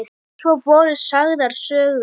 Svo voru sagðar sögur.